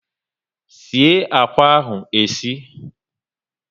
sie akwa ahụ e sie!